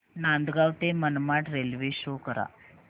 नांदगाव ते Manmad railway show करा